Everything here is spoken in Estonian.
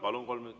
Palun!